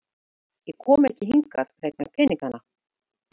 Ég kom ekki hingað vegna peningana.